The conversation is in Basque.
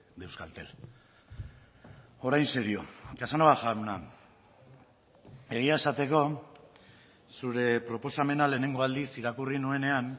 de euskaltel orain serio casanova jauna egia esateko zure proposamena lehenengo aldiz irakurri nuenean